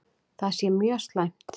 Það sé mjög slæmt.